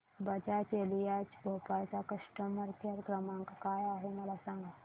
Bajaj Allianz Bhopal चा customer care क्रमांक काय आहे मला सांगा